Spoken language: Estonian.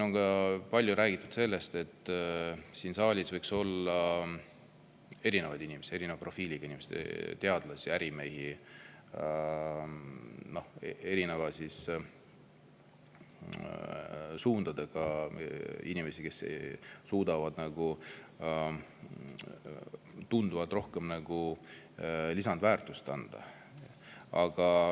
On ka palju räägitud sellest, et siin saalis võiks olla erinevaid inimesi, erineva profiiliga inimesi, teadlasi, ärimehi, erinevate suundade inimesi, kes suudavad tunduvalt rohkem lisandväärtust anda.